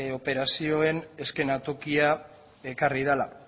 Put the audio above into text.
operazioen eszenatokia ekarri dela